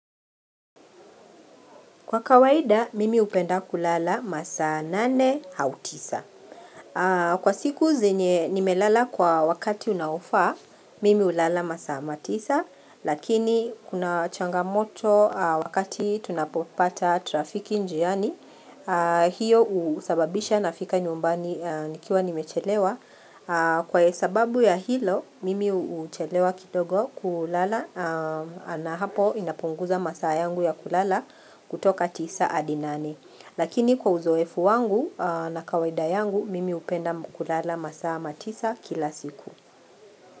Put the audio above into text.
Kwa kawaida, mimi upenda kulala masaa nane autisa. Kwa siku zenye nimelala kwa wakati unaufaa, mimi ulala masaa matisa. Lakini, kuna changamoto wakati tunapopata trafiki njiani, hiyo usababisha nafika nyumbani nikiwa nimechelewa. Kwa sababu ya hilo mimi uchelewa kidogo kulala na hapo inapunguza masaa yangu ya kulala kutoka tisa hadinane Lakini kwa uzoefu wangu na kawaida yangu mimi upenda kulala masaa matisa kila siku.